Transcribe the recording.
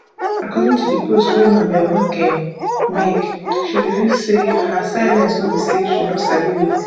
according to di post wey mabel makun make she reveal say her silence no be say she no sabi wetin